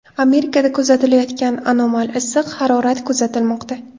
Amerikada kuzatilayotgan anomal issiq harorat kuzatilmoqda.